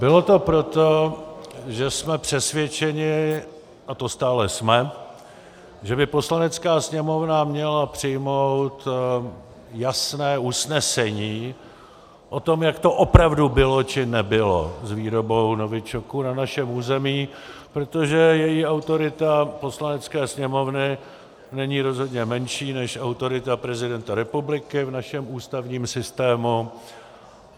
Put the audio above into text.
Bylo to proto, že jsme přesvědčeni, a to stále jsme, že by Poslanecká sněmovna měla přijmout jasné usnesení o tom, jak to opravdu bylo či nebylo s výrobou novičoku na našem území, protože její autorita, Poslanecké sněmovny, není rozhodně menší než autorita prezidenta republiky v našem ústavním systému.